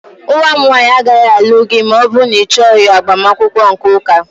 Nwa m nwanyị agaghị alụ gị ma ọ bụrụ na ịchọghị agbamakwụkwọ nke ụka